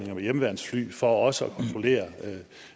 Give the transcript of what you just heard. med hjemmeværnsfly for også